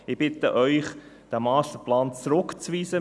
Ich bitte Sie, diesen Masterplan zurückzuweisen.